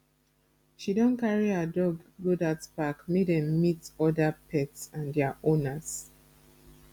she don carry her dog go dat park make dem meet oda pet and their owners